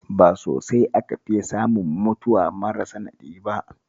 Ba sosai aka fiya samun mutuwa mara sanadi ba